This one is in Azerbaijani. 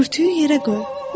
Örtüyü yerə qoy.